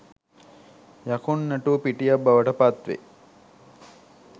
යකුන් නැටු පිටියක් බවට පත්වේ.